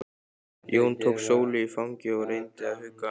Jón tók Sólu í fangið og reyndi að hugga hana.